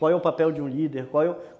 Qual é o papel de um líder? Qual